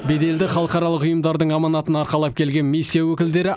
беделді халықаралық ұйымдардың аманатын арқалап келген миссия өкілдері